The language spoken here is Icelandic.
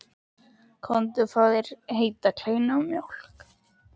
Komdu og fáðu þér heita kleinu og mjólk.